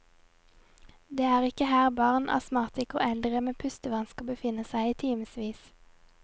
Det er ikke her barn, astmatikere og eldre med pustevansker befinner seg i timevis.